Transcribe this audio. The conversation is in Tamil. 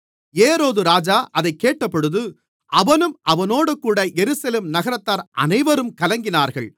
ஏரோதுராஜா அதைக் கேட்டபொழுது அவனும் அவனோடுகூட எருசலேம் நகரத்தார் அனைவரும் கலங்கினார்கள்